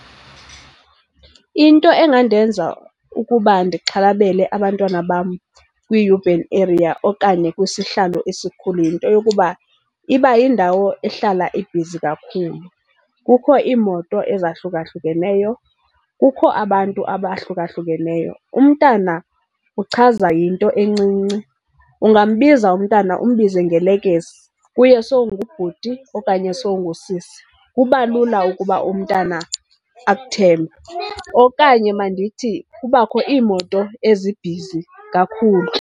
Into engandenza ukuba ndixhalabele abantwana bam kwiyubhen eriya okanye kwisihlalo esikhulu yinto yokuba iba yindawo ehlala ibhizi kakhulu. Kukho iimoto ezahlukahlukeneyo, kukho abantu abahlukahlukeneyo. Umntana uchazwa yinto encinci. Ungambiza umntana umbize ngelekese, kuye sowungubhuti okanye sowungusisi. Kuba lula ukuba umntana akuthembe. Okanye mandithi kubakho iimoto ezibhizi kakhulu.